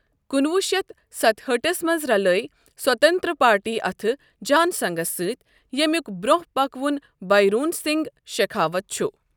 کُنہٕ وُہ شیٚتھ ستہٲٹھس منٛز رلٲوۍ سوانتنترا پارٹی اتھٕ جان سَنگس سۭتۍ ییٚمیُک برۅنٛہہ پکہٕ وُن بھایرون سِنگ شِکھاوت چھُ۔